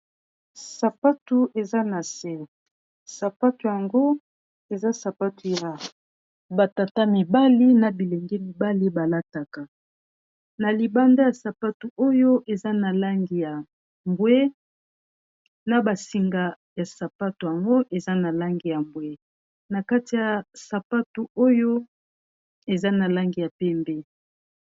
sapatu eza na se sapatu yango eza sapatu ya batata mibali na bilenge mibali balataka na libanda ya sapatu oyo eza na langi ya bwe na basinga ya sapatu yango eza na langi ya bwe na kati ya sapatu oyo eza na langi ya pembe